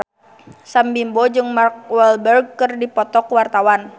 Sam Bimbo jeung Mark Walberg keur dipoto ku wartawan